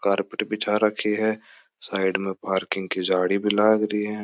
कार्पेट बिछा राखी है साइड में पार्किंग की झाडी भी लागरी है।